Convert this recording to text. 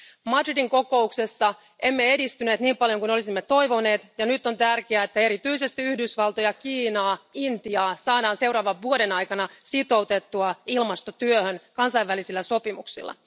Madridin kokouksessa emme edistyneet niin paljon kuin olisimme toivoneet, ja nyt on tärkeää, että erityisesti Yhdysvaltoja, Kiinaa ja Intiaa saadaan seuraavan vuoden aikana sitoutettua ilmastotyöhön kansainvälisillä sopimuksilla.